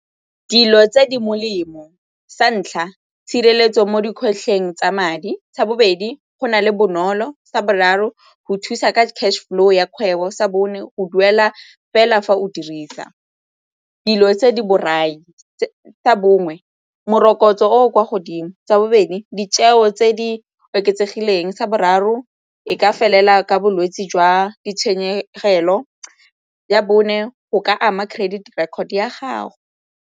Dilo tse di molemo, sa ntlha, tshireletso mo dikgwetlho teng tsa madi. Sa bobedi, go na le bonolo. Sa boraro, go thusa ka cash flow ya kgwebo. Sa bone, go duela fela fa o dirisa. Dilo tse di borai. Sa bongwe morokotso o o kwa godimo. Sa bobedi, ditheo tse di oketsegileng. Sa boraro, e ka felela jwa ditshenyegelo. Ya bone, go ka ama credit record ya gago.